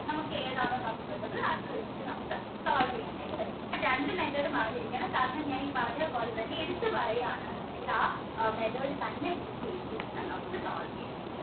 നമുക്ക് ഏതാണ് നമുക്ക് വേണ്ടത് അത് നമുക്ക് solve ചെയ്യാനായിട്ട് പറ്റും രണ്ടു method ഉം അറിന്നിരിക്കണം കാരണം ഞാൻ ഈ പറഞ്ഞപോലെത്തഞ്ഞെ എടുത്ത് പാറയാന് ഉണ്ടെങ്കിൽ ആ method ൽ തന്നെ use ചെയ്തിട്ട് വേണം നമുക്ക് solve ചെയ്യാൻ